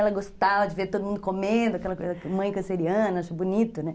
Ela gostava de ver todo mundo comendo, aquela coisa que a mãe canceriana achou bonito, né?